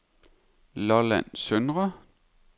Lolland Søndre